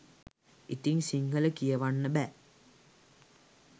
ඉතින් සිංහල කියවන්න බෑ.